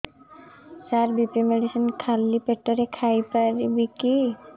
ସାର BP medicine ଖାଲି ପେଟରେ ଖାଇବି କି